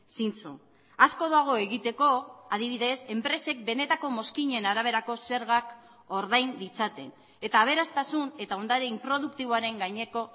zintzo asko dago egiteko adibidez enpresek benetako mozkinen araberako zergak ordain ditzaten eta aberastasun eta ondare inproduktiboaren gaineko